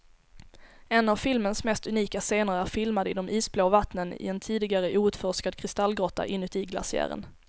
En av filmens mest unika scener är filmad i de isblå vattnen i en tidigare outforskad kristallgrotta inuti glaciären.